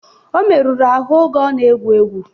Ọ meruru ahụ oge ọ na-egwu egwu